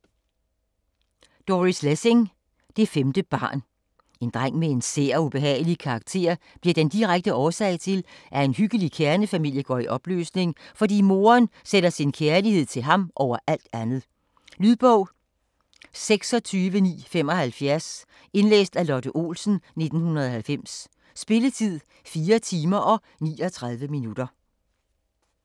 Lessing, Doris: Det femte barn En dreng med en sær og ubehagelig karakter bliver den direkte årsag til, at en hyggelig kernefamilie går i opløsning, fordi moderen sætter sin kærlighed til ham over alt andet. Lydbog 26975 Indlæst af Lotte Olsen, 1990. Spilletid: 4 timer, 39 minutter.